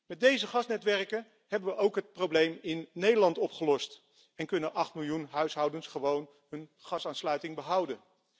Met deze gasnetwerken hebben wij ook het probleem in Nederland opgelost en kunnen acht miljoen huishoudens hun gasaansluiting behouden.